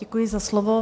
Děkuji za slovo.